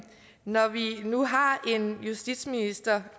når vi nu har en justitsminister